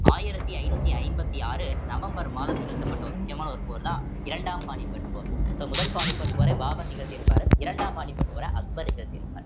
ஆயிரத்தி ஐநூத்தி ஐம்பத்தி ஆறு நவம்பர் மாதம் நிகழ்த்தப்பட்ட ஒரு முக்கியமான ஒரு போர்தான் இரண்டாம் பானிபட் போர் so முதல் பானிபட் போரை பாபர் நிகழ்த்தி இருப்பாரு இரண்டாம் பானிபட் போர அக்பர் நிகழ்த்தியிருப்பார்